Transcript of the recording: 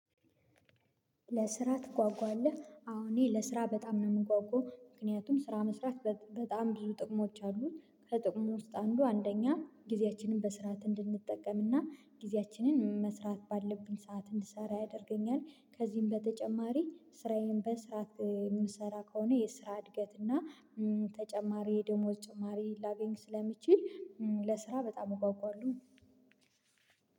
ለስራ ትጓጓለህ? አዎ እኔ ለስራ በጣም ነው የምጓጓው ምክንያቱም ስራ መስራት በጣም ብዙ ጥቅሞች አሉት ከጥቅሙ ውስጥ አንዱ አንደኛ ጊዜያችንን በስርዓት እንድንጠቀምና ጊዜያችንን መስራት ባለብኝ ሰዓት እንድሰራ ያደርገኛል ከዚህም በተጨማሪ ስራዬን በስርዓት የምሰራ ከሆነ የስራ እድገት እና ተጨማሪ ደሞዝ ተጨማሪ ላገኝ ስለሚችል ለስራ በጣም እጓጓለሁ